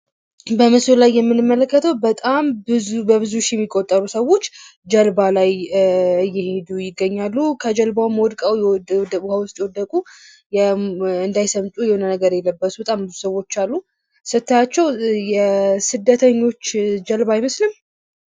ምስሉ ላይ የምንመለከተው በጣም በብዙ ሺህ የሚቆጠሩ ሰዎች በጀልባ ላይ እየሄዱ ይገኛሉ። ከጀልባው ሞልተው የወደቁ ሰዎች አሉ እንዳይሰምጡ የሆነ ልብስ ለብሰዋል። ስታይዋቸው የስደተኞች ጀልባ አይመስልም?